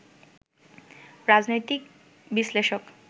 রাজনৈতিক বিশ্লেষক